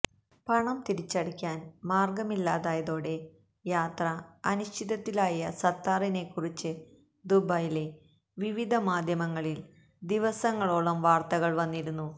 പണം തിരിച്ചടക്കാന് മാര്ഗ്ഗമില്ലാതായതോടെ യാത്ര അനിശ്ചിതത്വത്തിലായ സത്താറിനെക്കുറിച്ച് ദുബൈയിലെ വിവിധ മാധ്യമങ്ങളില് ദിവസങ്ങളോളം വാര്ത്തകള് വന്നിരുന്നു